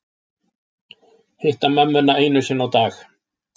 Hitta mömmuna einu sinni á dag